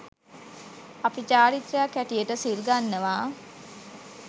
අපි චාරිත්‍රයක් හැටියට සිල් ගන්නවා.